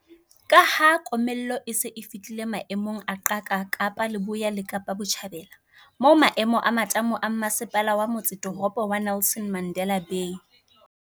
Ka ha komello e se e fihlile maemong a qaka Kapa Leboya le Kapa Botjhabela, moo maemo a matamo a Mmase pala wa Motsetoropo wa Nelson Mandela Bay